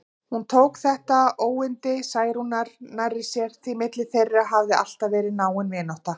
Hún tók þetta óyndi Særúnar nærri sér, því milli þeirra hafði alltaf verið náin vinátta.